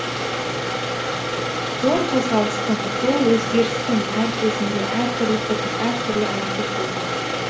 зор қозғалыстың зор өзгерістің әр кезінде әр түрлі пікір әр түрлі әрекет болған